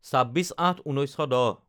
২৬/০৮/১৯১০